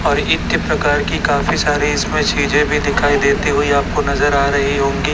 और इत्य प्रकार की काफी सारी इसमें चीजें भी दिखाई देती हुई आपको नजर आ रही होंगी।